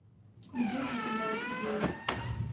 где приземляются звезды